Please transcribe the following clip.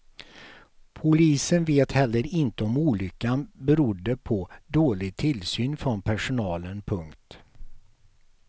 Polisen vet heller inte om olyckan berodde på dålig tillsyn från personalen. punkt